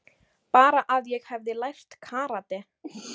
Bara að ég hefði lært karate.